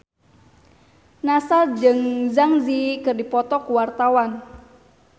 Nassar jeung Zang Zi Yi keur dipoto ku wartawan